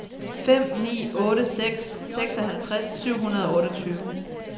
fem ni otte seks seksoghalvtreds syv hundrede og otteogtyve